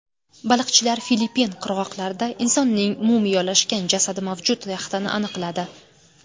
Baliqchilar Filippin qirg‘oqlarida insonning mumiyolashgan jasadi mavjud yaxtani aniqladi.